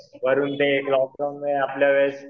वरून ते लॉकडाउनमुळे आपल्या वेळेस